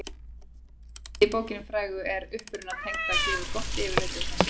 efnisyfirlitið í bókinni frægu um uppruna tegundanna gefur gott yfirlit um þessi atriði